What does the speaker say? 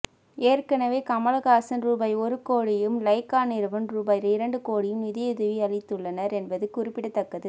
ஏற்கனவே கமல்ஹாசன் ரூபாய் ஒரு கோடியும் லைகா நிறுவனம் ரூபாய் இரண்டு கோடியும் நிதியுதவி அளித்துள்ளனர் என்பது குறிப்பிடத்தக்கது